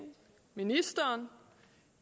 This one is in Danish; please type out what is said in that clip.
mener